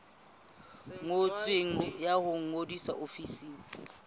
ngotsweng ya ho ngodisa ofising